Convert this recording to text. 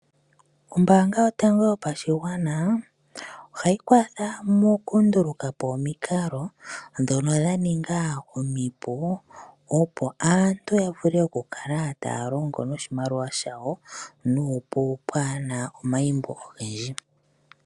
Ombaanga yotango yopashigwana ohayi kwatha moku ndulukapo omikalo ndhono dha ninga omipu opo aantu yavule okukala taya longo noshimaliwa shawo nuupu kapena omaimbo ogendji.